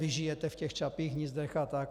Vy žijete v těch Čapích hnízdech a tak.